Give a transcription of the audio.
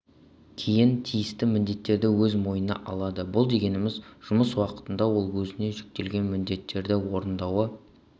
кейін тиісті міндеттерді өз мойнына алады бұл дегеніміз жұмыс уақытында ол өзіне жүктелген міндеттерді орындауы